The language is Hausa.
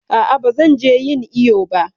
A'a ba zan je ƴin iƴo ba.